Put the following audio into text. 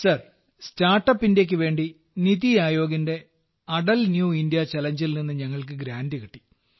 sir startup ഇന്ത്യക്കു വേണ്ടി നിതി ആയോഗിന്റെ അടൽ ന്യൂ ഇന്ത്യ ചലഞ്ചിൽ നിന്ന് ഞങ്ങൾക്ക് ഗ്രാന്റ് കിട്ടി